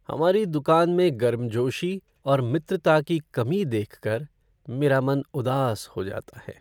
हमारी दुकान में गर्मजोशी और मित्रता की कमी देखकर मेरा मन उदास हो जाता है।